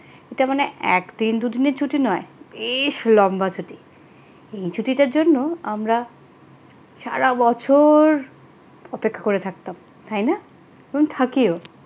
এটা মানে একদিন দুজনে ছুটি নয় বেশ লম্বা ছুটি এই ছুটিটার জন্য আমরা সারা বছর অপেক্ষা করে থাকতাম তাই না এবং থাকিও